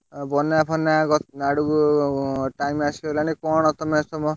ଆଉ ବନ୍ୟା ଫନ୍ୟା ଆଡକୁ time ଆସିଗଲାଣି କଣ ତମେ ସବୁ,